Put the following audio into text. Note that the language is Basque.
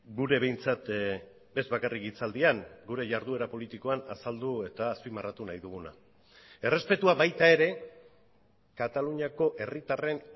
gure behintzat ez bakarrik hitzaldian gure jarduera politikoan azaldu eta azpimarratu nahi duguna errespetua baita ere kataluniako herritarren